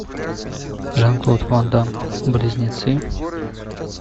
жан клод ван дамм близнецы